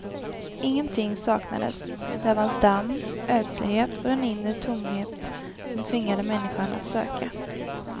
Ingenting saknades; där fanns damm, ödslighet och den inre tomhet som tvingade människan att söka.